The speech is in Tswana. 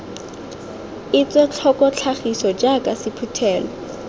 etswe tlhoko tlhagiso jaaka sephuthelo